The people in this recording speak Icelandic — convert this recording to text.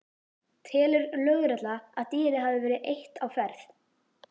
Telur lögregla að dýrið hafi verið eitt á ferð?